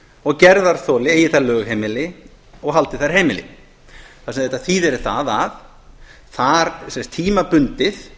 og gerðarþoli eigi þar lögheimili og haldi þar heimili það sem þetta þýðir er það að tímabundið